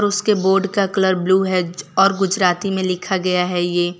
उसके बोर्ड का colour blue है और गुजराती में लिखा गया है ये।